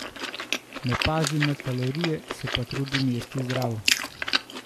Ne pazim na kalorije, se pa trudim jesti zdravo.